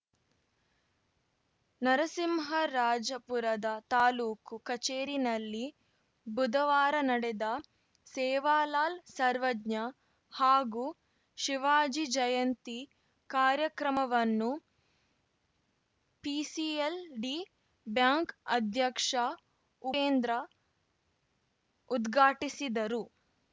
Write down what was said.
ನರಸಿಂಹರಾಜಪುರದ ತಾಲೂಕು ಕಚೇರಿನಲ್ಲಿ ಬುಧವಾರ ನಡೆದ ಸೇವಾಲಾಲ್‌ ಸರ್ವಜ್ಞ ಹಾಗೂ ಶಿವಾಜಿ ಜಯಂತಿ ಕಾರ್ಯಕ್ರಮವನ್ನು ಪಿಸಿಎಲ್‌ಡಿ ಬ್ಯಾಂಕ್‌ ಅಧ್ಯಕ್ಷ ಉಪೇಂದ್ರ ಉದ್ಘಾಟಿಸಿದರು